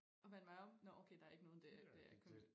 Og vende mig om nåh okay der ikke nogen dér det er kun